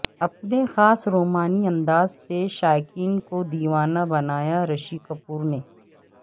اپنے خاص رومانی انداز سے شائقین کو د یوانہ بنایا رشی کپور نے